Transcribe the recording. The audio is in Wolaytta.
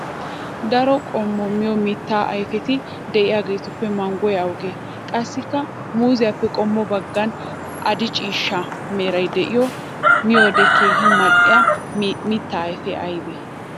Daro qommo miyo mitta ayfetti de'iyaagettuppe manggoy awugge? Qassikka muuzziyappe qommo bagan adi'e ciishsha meray de'iyo miyoode keehi mal'iya mita ayfe aybe?